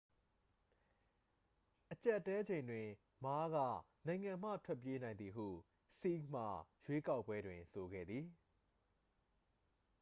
အကြပ်အတည်းချိန်တွင် မားက နိုင်ငံမှထွက်ပြေးနိုင်သည်ဟု ဆီးဟ်မှ ရွေးကောက်ပွဲတွင် ဆိုခဲ့သည်